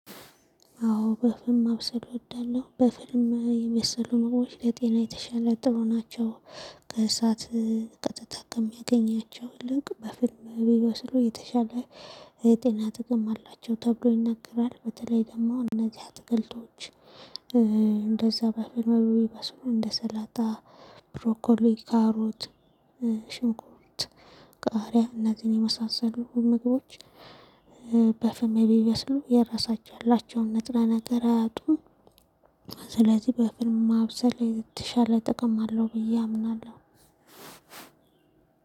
አዎ በፍም ማብሰል እወዳለሁ በፍም የበሰሉ ምግቦች ለጤና የተሻለ ጥሩ ናቸው። ከእሳት ከተጠቀም ያገኛቸው ልክ በፍም ቢበስሉ የተሻለ ጤና ጥቅም አላቸው ተብሎ ይነገራል። በተለይ ደግሞ እነዚህ አትክልቶች እንደዛ በፍም የሚበስሉ እንደ ሰላጣ ብሮኮሊ ካሮት ሽንኩርት ቃሪያ እነዚህን የመሳሰሉ ምግቦች በፍም ቢበስሉ የራሳቸው ያላቸውን ንጥረ ነገር አያጡም። ስለዚህ በፍም ማብሰል የተሻለ ጥቅም አለው ብዬ አምናለሁ።